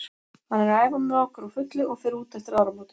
Hann er að æfa með okkur á fullu og fer út eftir áramótin.